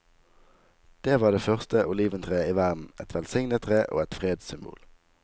Det var det første oliventreet i verden, et velsignet tre og et fredssymbol.